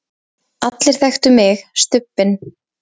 allir þekktu mig, Stubbinn.